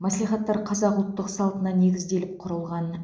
мәслихаттар қазақтың ұлттық салтына негізделіп құрылған